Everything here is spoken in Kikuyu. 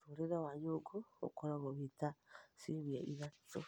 Mũtũrĩre wa nyũngũ ũkoragwo wĩta wa ciumia ithatũ